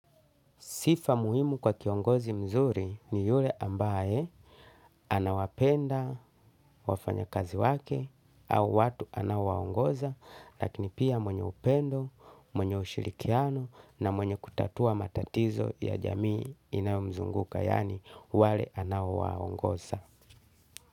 Sifa muhimu kwa kiongozi mzuri ni yule ambaye anawapenda wafanya kazi wake au watu anaowangoza lakini pia mwenye upendo, mwenye ushirikiano na mwenye kutatua matatizo ya jamii inayomzunguka yaani wale anaowaongoza.